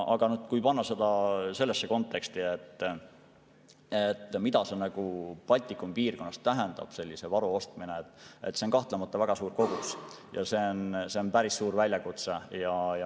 Aga kui panna see konteksti, mida sellise varu ostmine Baltikumi piirkonnas tähendab, siis see on kahtlemata väga suur kogus ja see on päris suur väljakutse.